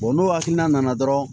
n'o hakilina nana dɔrɔn